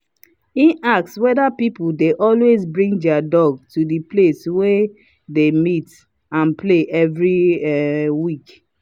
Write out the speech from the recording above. he ask whether people dey always bring their dog to the place wey they dey meet and play every um week